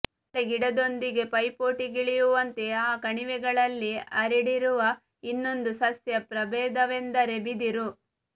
ಬಾಳೆಗಿಡದೊಂದಿಗೆ ಪೈಪೋಟಿಗಿಳಿಯುವಂತೆ ಆ ಕಣಿವೆಗಳಲ್ಲಿ ಹರಡಿರುವ ಇನ್ನೊಂದು ಸಸ್ಯ ಪ್ರಭೇದವೆಂದರೆ ಬಿದಿರು